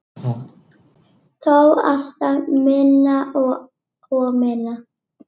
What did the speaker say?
Þó alltaf minna og minna.